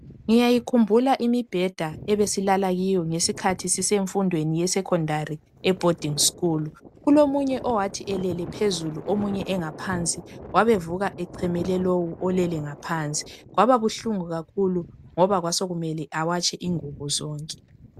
Ngiyayikhumbula imibheda ebesilala kiyo ngesikhathi sisemfundweni ye secondary e boarding school kulomunye owathi elele phezulu omunye engaphansi wabevuka echemele lowu olele ngaphansi kwababuhlungu kakhulu ngoba kwasekumele awatshe ingubo zonke.